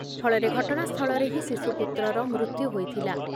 ଫଳରେ ଘଟଣାସ୍ଥଳରେ ହିଁ ଶିଶୁପୁତ୍ରର ମୃତ୍ୟୁ ହୋଇଥିଲା ।